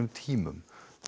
tímum